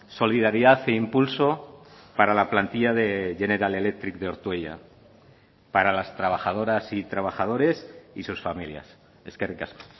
solidaridad e impulso para la plantilla de general electric de ortuella para las trabajadoras y trabajadores y sus familias eskerrik asko